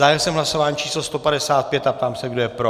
Zahájil jsem hlasování číslo 156 a ptám se, kdo je pro.